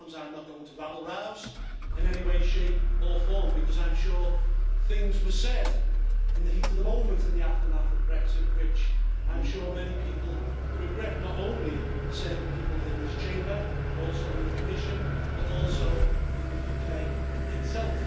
Ms Harms, I am not going to rabble rouse in any way, shape or form, because I am sure that things were said in the heat of the moment, in the aftermath of Brexit, which many people regret not only certain people in this Chamber and in the Commission, but also in the UK itself.